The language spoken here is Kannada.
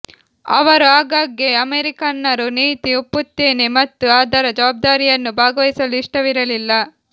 ಅವರು ಆಗಾಗ್ಗೆ ಅಮೆರಿಕನ್ನರು ನೀತಿ ಒಪ್ಪುತ್ತೇನೆ ಮತ್ತು ಅದರ ಜವಬ್ದಾರಿಯನ್ನು ಭಾಗವಹಿಸಲು ಇಷ್ಟವಿರಲಿಲ್ಲ